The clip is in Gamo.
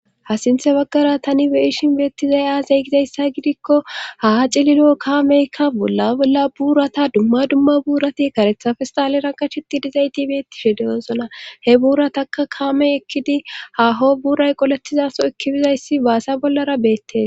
ha sinthe baggara tani be'ishin beettizay aasay gizayssa gidikko ha cililo kaameykka bolla bolla buurata dumma dumma buurati karethafestalera qachiti dizay tibetishe dewoosona he buurataka kaamey ekkidi haho buray qoletizaso ekki bizayssi baasa bollara beettes